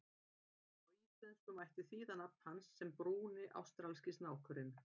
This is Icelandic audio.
Á íslensku mætti þýða nafn hans sem Brúni ástralski snákurinn.